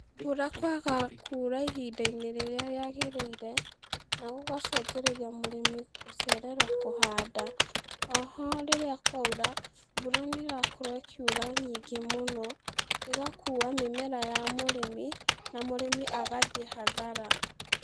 Mbura kwaga kura ihinda-inĩ rĩrĩra rĩagĩrĩire, nagũgacungĩrĩria mũrĩmi kwaga kũhanda, oho rĩrĩa kwaura, mbura nĩrakorwo ĩkiura nyingĩ mũno, ĩgakua mĩmera ya mũrĩmi, na mũrĩmi agathi hathara.